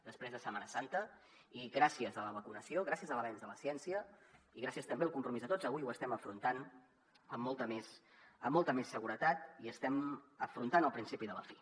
després de setmana santa i gràcies a la vacunació gràcies a l’avenç de la ciència i gràcies també al compromís de tots avui ho estem afrontant amb molta més seguretat i estem afrontant el principi de la fi